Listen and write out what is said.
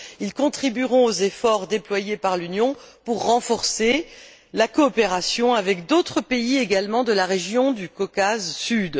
Ils contribueront aux efforts déployés par l'Union pour renforcer la coopération avec d'autres pays également de la région du Caucase Sud.